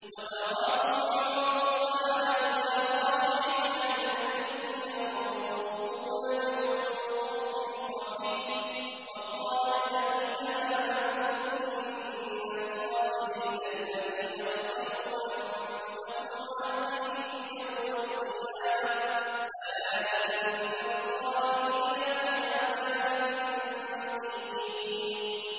وَتَرَاهُمْ يُعْرَضُونَ عَلَيْهَا خَاشِعِينَ مِنَ الذُّلِّ يَنظُرُونَ مِن طَرْفٍ خَفِيٍّ ۗ وَقَالَ الَّذِينَ آمَنُوا إِنَّ الْخَاسِرِينَ الَّذِينَ خَسِرُوا أَنفُسَهُمْ وَأَهْلِيهِمْ يَوْمَ الْقِيَامَةِ ۗ أَلَا إِنَّ الظَّالِمِينَ فِي عَذَابٍ مُّقِيمٍ